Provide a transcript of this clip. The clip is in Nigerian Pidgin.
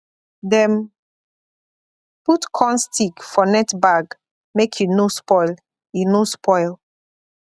dem put corn stick for net bag make e no spoil e no spoil